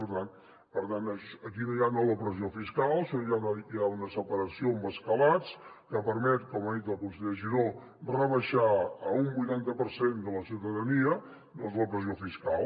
per tant aquí no hi ha nova pressió fiscal sinó que hi ha una separació amb escalats que permet com ha dit el conseller giró rebaixar a un vuitanta per cent de la ciutadania la pressió fiscal